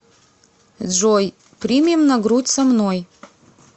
джой примем на грудь со мной